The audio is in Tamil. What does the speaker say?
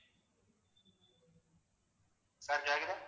sir கேக்குதா